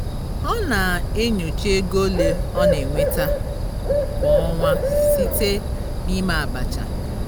ọ na-enyocha ego ole ọ na-enweta kwa ọnwa site na ime abacha